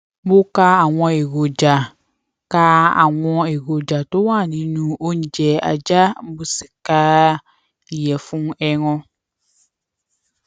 mo ka àwọn èròjà ka àwọn èròjà tó wà nínú oúnjẹ ajá mo sì ka ìyèfun ẹran